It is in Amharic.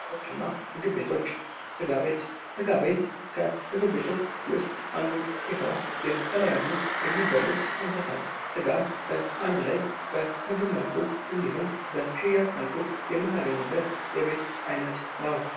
ቡና ቤቶች እና ምግብ ቤቶች። ስጋ ቤት ።ስጋ ቤት የምግብ ቤቶች ውስጥ አንዱ ሲሆን የተለያዩ የሚበሉ እንስሳት ስጋን በአንድ ላይ በምግብ መልኩ በሽያጭ መልኩ የምናገኝበት የቤት አይነት ነው።